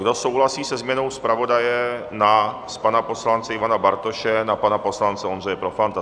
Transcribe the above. Kdo souhlasí se změnou zpravodaje z pana poslance Ivana Bartoše na pana poslance Ondřeje Profanta?